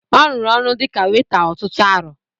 Ọ rụrụ ọrụ dịka weta ọtụtụ arọ